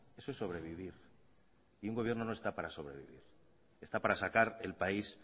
eso es sobrevivir y un gobierno no está para sobrevivir está para sacar el país